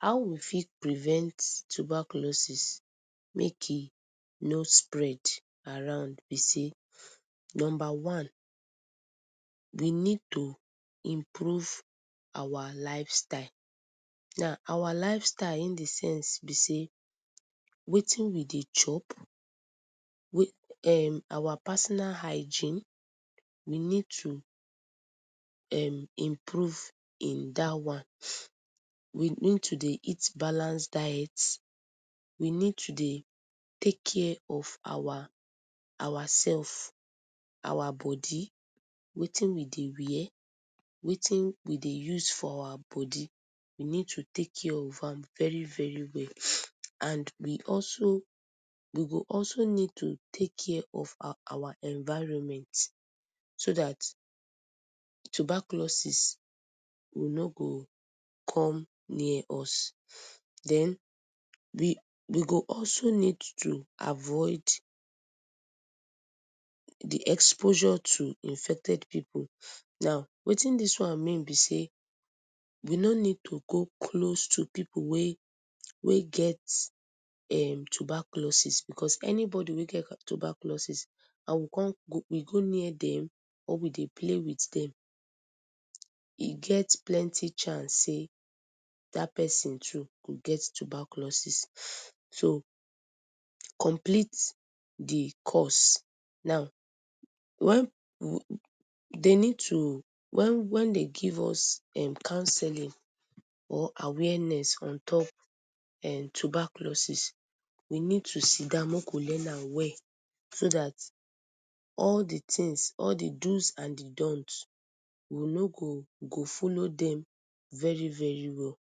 How we fit prevent tuberculosis make e no spread around b sey number we need to improve our lifestyle, our lifestyle in d sense sey wetin we dey chop, our personal hygiene we need to um improve in dat one, we need to eat balance diet, we need to dey take care of ourself, our boday wetin we dey wear, wetin we dey use for our body, we need to take care of am, and we go also need to take care of our environment, so data tuberculosis no go come near us, den we go also need to avoid d exposure to infected pipu, now wetin dis one mean sey we no need to go close to pipu wey get tuberculosis, because anybody wey get tuberculosis and we con go near dem or we dey play with dem, e get plenty chance sey dat persin too go get tuberculosis, so, complete d course, wen, dey need too, wen dey give us canceling or awareness ontop tuberculosis we need to sidon make we learn am well, so dat all d do’s and d don’t’s we go follow dem very very well,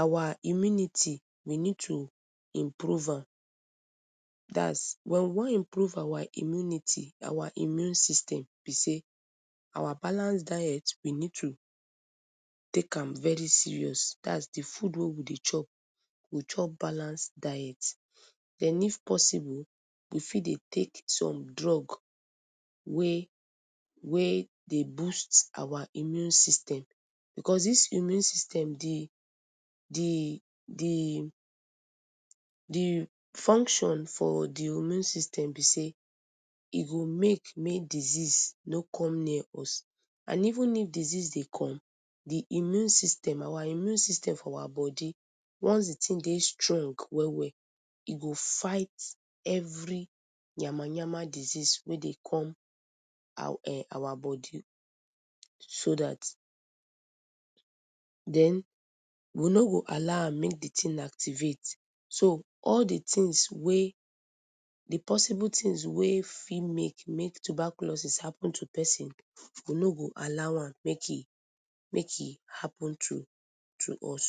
our imunity we need to improve am dats wen we wan improve our immunity, our immune system sey, our balance diet we need to take am very serious dats d food wey we dey chop, we go chop balanced diet, den if possible we fit dey take some drugs wey dey boost our immune system, because dis our immune system d function for d immune system b sey e make may disease no come near us, and even disease dey come our immune system for our body once d tin dey strong well well e go fight d tin, every yamayama disease wey dey come our body so dat, den we no go allow am make d thing activate, so all d things wey, d possible things wey fit make may tuberculosis happen to persin we no go allow am make e happen to us.